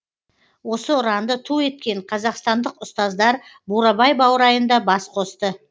осы ұранды ту еткен қазақстандық ұстаздар бурабай баурайында бас қосты